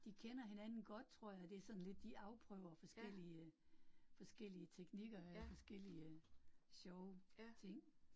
De kender hinanden godt tror jeg, det sådan lidt, de afprøver forskellige forskellige teknikker øh forskellige sjove ting